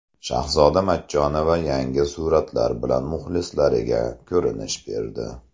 Shahzoda Matchonova yangi suratlar bilan muxlislariga ko‘rinish berdi.